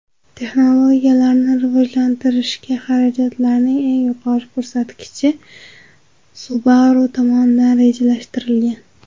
Texnologiyalarni rivojlantirishga xarajatlarning eng yuqori ko‘rsatkichi Subaru tomonidan rejalashtirilgan.